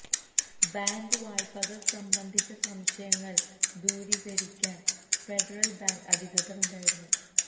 bank വായ്പകൾ സംബന്ധിച്ച സംശയങ്ങൾ ദൂരീകരിക്കാൻ ഫെഡറൽ ബാങ്ക് അധികൃതർ ഉണ്ടായിരുന്നു